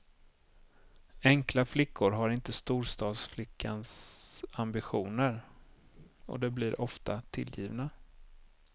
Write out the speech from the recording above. Enkla flickor har inte storstadsflickans ambitioner, och de blir ofta tillgivna.